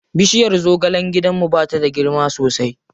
Bishirya zagalen gidanmu ba ta da girma sosai.